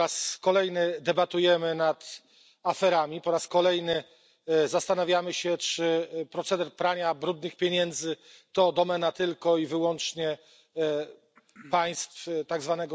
Po raz kolejny debatujemy nad aferami, po raz kolejny zastanawiamy się, czy proceder prania brudnych pieniędzy to domena tylko i wyłącznie państw tzw.